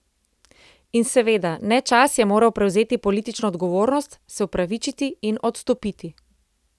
In seveda, Nečas je moral prevzeti politično odgovornost, se opravičiti in odstopiti.